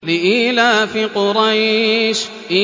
لِإِيلَافِ قُرَيْشٍ